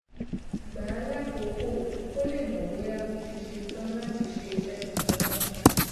gbà á lákòókò kó lè mò bóyá ó ti ṣe tán láti ṣe iṣé tuntun náà